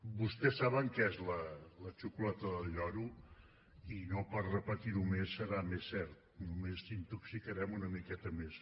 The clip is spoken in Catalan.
vostès saben que és la xocolata del lloro i no per repetir ho més serà més cert només intoxicarem una miqueta més